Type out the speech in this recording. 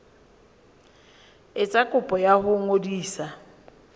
etsa kopo ya ho ngodisa